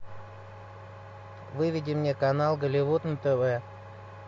выведи мне канал голливуд на тв